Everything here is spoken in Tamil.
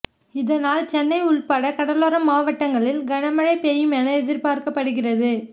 இதனால் சென்னை உள்பட கடலோர மாவட்டங்களில் கனமழை பெய்யும் என எதிர்பார்க்கப்படுகிறது